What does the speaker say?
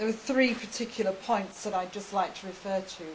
I think there are three particular points that I would like to refer to.